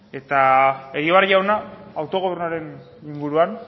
eta egibar jauna autogobernuaren inguruan